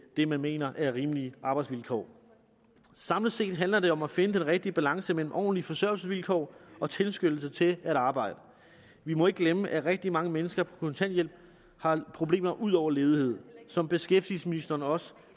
det man mener er rimelige arbejdsvilkår samlet set handler om at finde den rigtige balance mellem ordentlige forsørgelsesvilkår og tilskyndelse til at arbejde vi må ikke glemme at rigtig mange mennesker på kontanthjælp har problemer ud over ledighed som beskæftigelsesministeren også